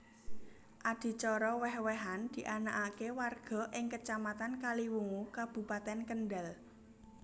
Adicara wéh wéhan dianakaké warga ing Kècamatan Kaliwungu Kabupatén Kèndhal